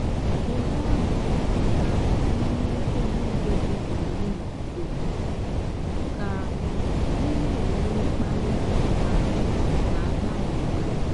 kewaa ọrụ nhicha n'ime nkeji nkeji iri na ise ka ị na-enwe mkpali ma na-agbanwe agbanwe.